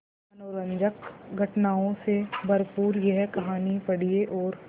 मनोरंजक घटनाओं से भरपूर यह कहानी पढ़िए और